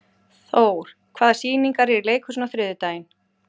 Thór, hvaða sýningar eru í leikhúsinu á þriðjudaginn?